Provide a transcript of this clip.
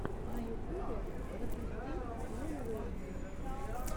на ютубе запусти лил уэйна